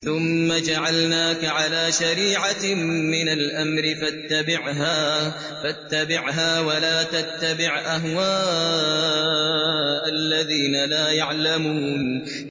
ثُمَّ جَعَلْنَاكَ عَلَىٰ شَرِيعَةٍ مِّنَ الْأَمْرِ فَاتَّبِعْهَا وَلَا تَتَّبِعْ أَهْوَاءَ الَّذِينَ لَا يَعْلَمُونَ